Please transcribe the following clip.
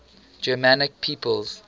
germanic peoples